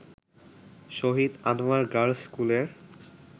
শহীদ Anwar girls স্কুলের